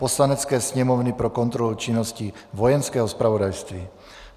Poslanecké sněmovny pro kontrolu činnosti Vojenského zpravodajství